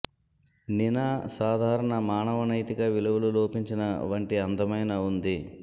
నినా సాధారణ మానవ నైతిక విలువలు లోపించిన వంటి అందమైన ఉంది